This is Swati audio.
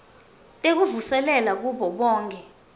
tekuvuselela kubo bonkhe